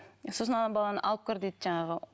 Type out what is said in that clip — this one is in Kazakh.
сосын ана баланы алып кір дейді жаңағы